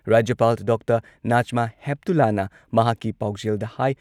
ꯔꯥꯖ꯭ꯌꯄꯥꯜ ꯗꯥ ꯅꯥꯖꯃꯥ ꯍꯦꯞꯇꯨꯂꯥꯅ ꯃꯍꯥꯛꯀꯤ ꯄꯥꯎꯖꯦꯜꯗ ꯍꯥꯏ